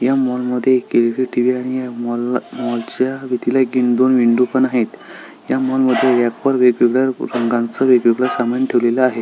या माॅल मध्ये एक एलइडी टिव्ही आहे या माॅल ला माॅल च्या विंडोला विंडो पण आहे या माॅल मध्ये वेगवेगळ्या रंगाच वेगवेगळ सामान ठेवलेल आहे.